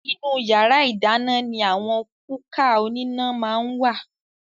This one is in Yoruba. Ìnú yàrá ìdáná ní àwọn kúkà oníná máa ń wà